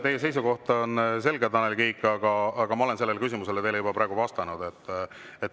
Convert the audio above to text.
Teie seisukoht on selge, Tanel Kiik, aga ma olen sellele küsimusele juba vastanud.